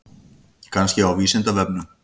Kannski á Vísindavefnum?